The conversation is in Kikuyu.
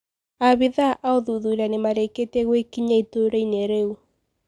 Abitha a ũthuthuria nimareketie gũekinyia itũra-ini rĩu.